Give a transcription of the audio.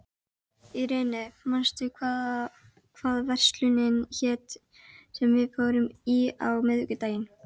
Irene, manstu hvað verslunin hét sem við fórum í á miðvikudaginn?